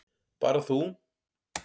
Bara þú.